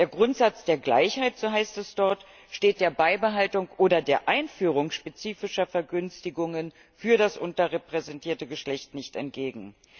Der Grundsatz der Gleichheit, so heißt es dort, steht der Beibehaltung oder der Einführung spezifischer Vergünstigungen für das unterrepräsentierte Geschlecht nicht entgegen.